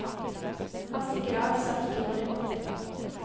Han stikker av hvis han ikke går i bånd.